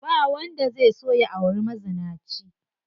Ba wanda zai so ya auri mazinaci.